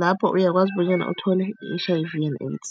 lapho uyakwazi bonyana uthole i-H_I_V and AIDS.